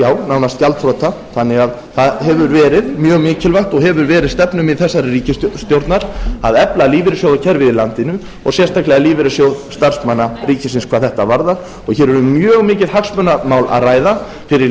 nánast gjaldþrota þannig að það hefur verið mjög mikilvægt ogeehfur verið stefnumið þessarar ríkisstjórnar að efla lífeyrissjóðakerfið í landinu og sérstaklega lífeyrissjóð starfsmanna ríkisins hvað þetta varðar og hér er um mjög mikið hagsmunamál að ræða fyrir lífeyrisþega